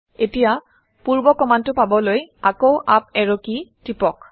এতিয়া পূৰ্ব কমাণ্ডটো পাবলৈ আকৌ আপ এৰো কি টিপক